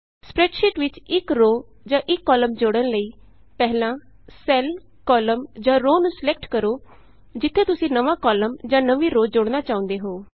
spreadsheet ਵਿਚ ਇਕ row ਜਾਂ ਇਕ ਕਾਲਮ ਜੋੜਨ ਲਈ ਪਹਿਲਾਂ ਸੈੱਲ ਕਾਲਮ ਜਾਂ ਰੋਅ ਨੂੰ ਸਲੈਕਟ ਕਰੋ ਜਿਥੇ ਤੁਸੀਂ ਨਵਾਂ ਕਾਲਮ ਜਾਂ ਨਵੀਂ ਰੋਅ ਜੋੜਨਾ ਚਾਹੁੰਦੇ ਹੋ